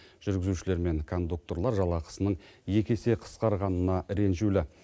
жүргізушілер мен кондукторлар жалақысының екі есе қысқарғанына ренжулі